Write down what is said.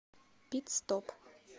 пит стоп